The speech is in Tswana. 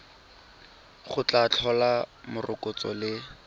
go tla tlhola morokotso le